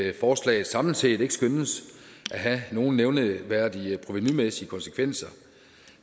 at forslaget samlet set ikke skønnes at have nogen nævneværdige provenumæssige konsekvenser